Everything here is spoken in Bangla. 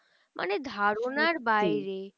মানে ধারণার বাইরে